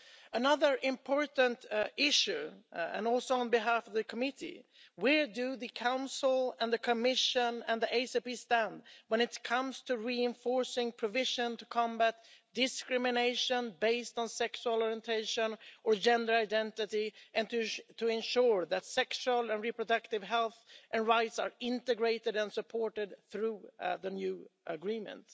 Another important issue, and also on behalf of the Committee on Development where do the Council and the Commission and the ACP stand when it comes to reinforcing provisions to combat discrimination based on sexual orientation or gender identity and to ensure that sexual and reproductive health and rights are integrated and supported through the new agreement?